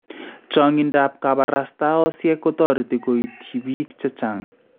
Chaang�intaab kabarastaosyek kotoreti koiityi bik chechang�